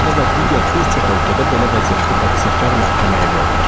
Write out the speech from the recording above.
Bizdə və digər bir çox ölkədə belə vəziyyətdə təqsirkar məhkəməyə verilir.